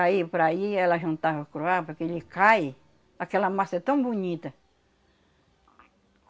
Aí, por aí, ela jantava curuá porque ele cai, aquela massa é tão bonita.